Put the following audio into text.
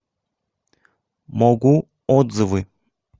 могу отзывы